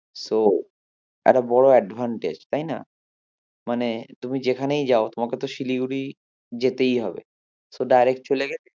So একটা বড়ো advantage তাইনা? মানে তুমি যেখানেই যাও তোমাকে তো শিলিগুড়ি যেতেই হবে so direct চলেগেলে